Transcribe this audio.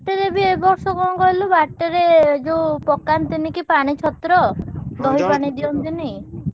ବାଟରେ ବି ଏବର୍ଷ କଣ କହିଲୁ ବାଟରେ ଏ ଯୋଉ ପକାନ୍ତିନି କି ପାଣି ଛତ୍ର ଦହି ପାଣି ଦିଅନ୍ତିନି।